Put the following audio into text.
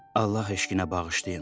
Allah eşqinə bağışlayın.